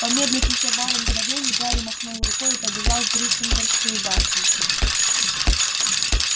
помедлить ещё пару мгновений гарри махнул рукой и побежал в гриффиндорскую башню